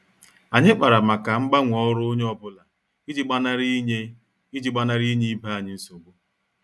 Anyị kpara màkà mgbanwe ọrụ onye ọ bụla iji gbanari inye iji gbanari inye ibe anyị nsogbu.